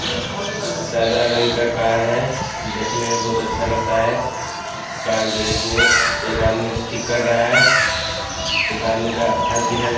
सजल हई इंकार कार है देखने में बहुत अच्छा लगता है कार गैरेज में एक आदमी ठीक कर रहा है एक आदमी का हाथ दिखाई --